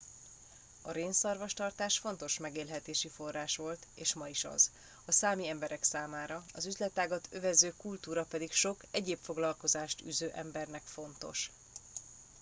a rénszarvastartás fontos megélhetési forrás volt és ma is az a számi emberek számára az üzletágat övező kultúra pedig sok egyéb foglalkozást űző embernek fontos